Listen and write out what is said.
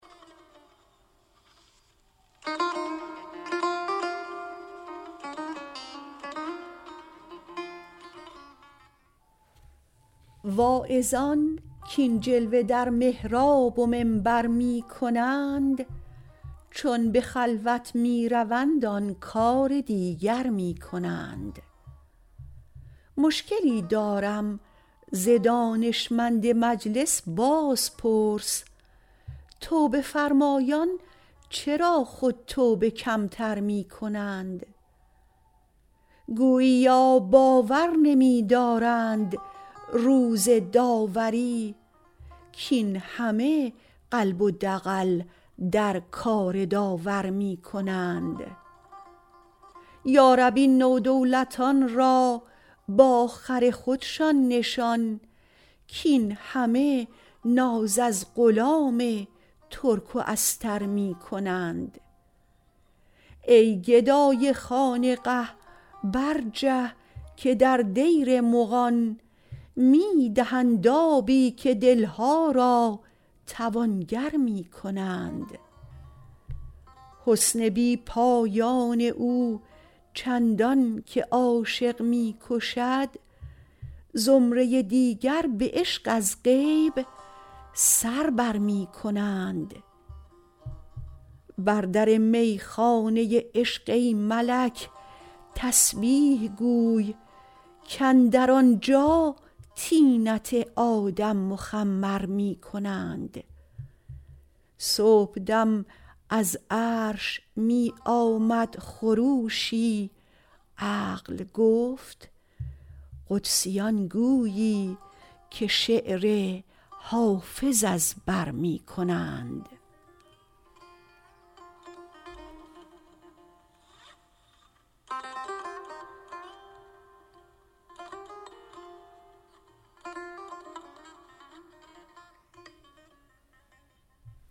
واعظان کاین جلوه در محراب و منبر می کنند چون به خلوت می روند آن کار دیگر می کنند مشکلی دارم ز دانشمند مجلس بازپرس توبه فرمایان چرا خود توبه کم تر می کنند گوییا باور نمی دارند روز داوری کاین همه قلب و دغل در کار داور می کنند یا رب این نودولتان را با خر خودشان نشان کاین همه ناز از غلام ترک و استر می کنند ای گدای خانقه برجه که در دیر مغان می دهند آبی و دل ها را توانگر می کنند حسن بی پایان او چندان که عاشق می کشد زمره دیگر به عشق از غیب سر بر می کنند بر در می خانه عشق ای ملک تسبیح گوی کاندر آنجا طینت آدم مخمر می کنند صبح دم از عرش می آمد خروشی عقل گفت قدسیان گویی که شعر حافظ از بر می کنند